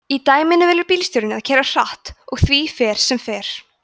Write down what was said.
í dæminu velur bílstjórinn að keyra hratt og því fer sem fer